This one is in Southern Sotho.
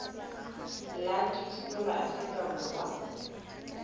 la dithuto la afrika borwa